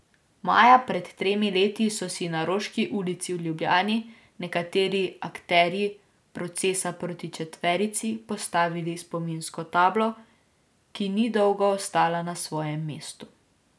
Maja pred tremi leti so si na Roški ulici v Ljubljani nekateri akterji procesa proti četverici postavili spominsko tablo, ki ni dolgo ostala na svojem mestu.